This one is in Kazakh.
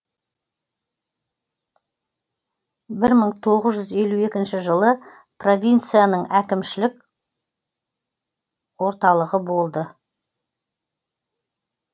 бір мың тоғыз жүз елу екінші жылы провинцияның әкімшілік орналығы болды